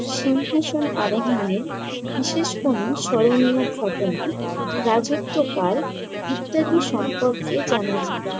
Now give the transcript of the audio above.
সিংহাসন আরোহনের, বিশেষ কোনো স্মরণীয় ঘটনা, রাজত্বকাল ইত্যাদি সম্পর্কে জানা যায়।